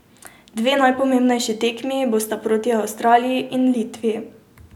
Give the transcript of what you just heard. Dve najpomembnejši tekmi bosta proti Avstraliji in Litvi.